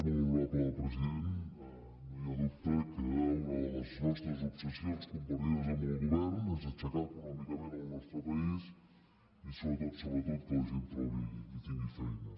molt honorable president no hi ha dubte que una de les nostres obsessions compartides amb el govern és aixecar econòmicament el nostre país i sobretot sobretot que la gent trobi i tingui feina